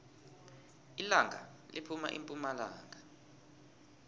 ilanga liphuma epumalanga